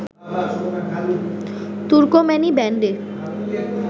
তুর্কম্যানি ব্যান্ডে